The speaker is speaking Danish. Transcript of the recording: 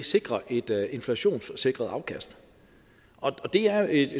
sikrer et inflationssikret afkast og det er et